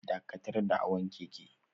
Dakatar da hawan keke